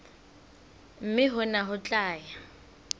mme hona ho tla ya